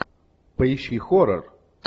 поищи хоррор